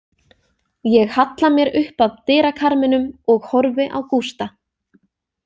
Ég halla mér upp að dyrakarminum og horfi á Gústa.